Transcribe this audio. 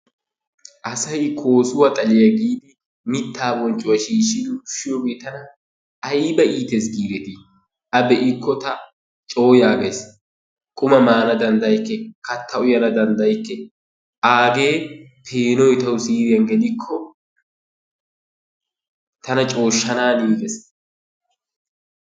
Asay koosuwa xaliya giisi mittaa bonccuwa shiishshidi ushshiyogee tana ayba iitees giidetii? A be'ikko taani cooyagays, qumaa maana danddayikke, haattaa uyana danddayikke. Agee peenoy tawu siiriyan gelikko tana cooshshaaniigees.